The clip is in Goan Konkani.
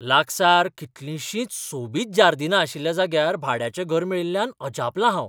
लागसार कितलींशींच सोबीत जार्दीनां आशिल्ल्या जाग्यार भाड्याचें घर मेळिल्ल्यान अजापलां हांव.